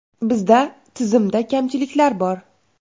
Bizda tizimda kamchiliklar bor.